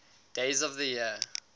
days of the year